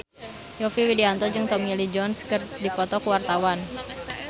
Yovie Widianto jeung Tommy Lee Jones keur dipoto ku wartawan